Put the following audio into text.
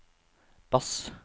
bass